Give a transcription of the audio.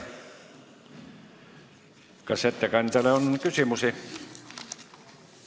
Kas ettekandjale on küsimusi?